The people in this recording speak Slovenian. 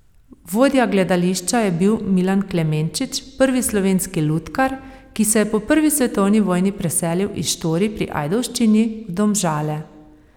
Vodja gledališča je bil Milan Klemenčič, prvi slovenski lutkar, ki se je po prvi svetovni vojni preselil iz Štorij pri Ajdovščini v Domžale.